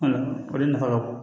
o de nafa ka bon